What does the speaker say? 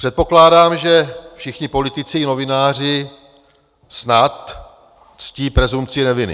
Předpokládám, že všichni politici a novináři snad ctí presumpci neviny.